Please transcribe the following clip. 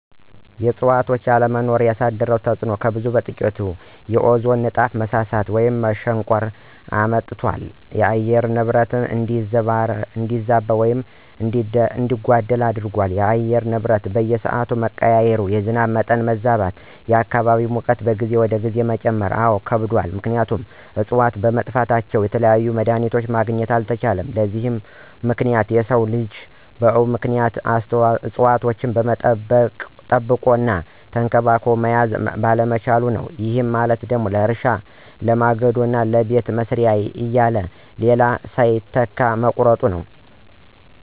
የእዕፅዋቶች አለመኖር ያሳደረው ተፅዕኖ ከብዙ በጥቂቱ፦ ፩) የኦዞን ንጣፍ መሳሳት ወይም መሸንቆር አምጥቷል። ፪) የአየር ንብረት እንዲዛባ አድርጎታል። ለምሳሌ፦ የአየር ንብረቱ በየስዓቱ መቀያየር። ፫) የዝናብ መጠን መዛባት። ፬) የአካባቢ ሙቀት ከጊዜ ወደ ጊዜ መጨመር። አዎ ከብዷል ምክንያቱም እፅዋቶች በመጥፋታቸው የተለያዩ መድሀኒቶችን ማግኘት አልተቻለም። ለዚህ ሁሉ ምክንያት የሰው ልጅ ነው ምክንያቱም እፅዋቶችን ጠብቆ እና ተንከባክቦ መያዝ ባለመቻሉ ነው። ይህ ማለት ለእርሻ፣ ለማገዶ እና ለቤት መስሪያ እያለ ሌላ ሳይተካ መቁረጡ።